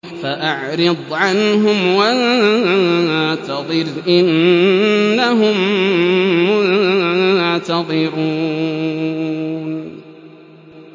فَأَعْرِضْ عَنْهُمْ وَانتَظِرْ إِنَّهُم مُّنتَظِرُونَ